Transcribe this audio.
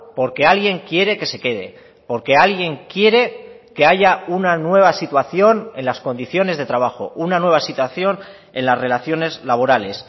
porque alguien quiere que se quede porque alguien quiere que haya una nueva situación en las condiciones de trabajo una nueva situación en las relaciones laborales